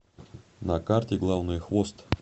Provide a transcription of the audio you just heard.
на карте главное хвост